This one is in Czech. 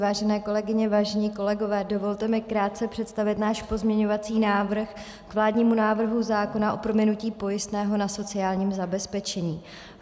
Vážené kolegyně, vážení kolegové, dovolte mi krátce představit náš pozměňovací návrh k vládnímu návrhu zákona o prominutí pojistného na sociální zabezpečení.